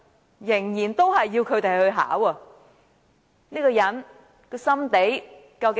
他仍然要小朋友考 TSA， 這個人的心腸究竟如何？